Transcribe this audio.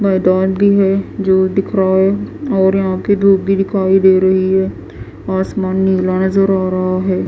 मैदान भी है जो दिख रहा है और यहां पे धूप भी दिखाई दे रही है आसमान नीला नजर आ रहा है।